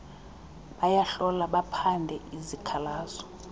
bayahlola baphande izikhalazo